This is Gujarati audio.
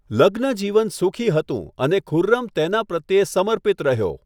લગ્નજીવન સુખી હતું અને ખુર્રમ તેના પ્રત્યે સમર્પિત રહ્યો.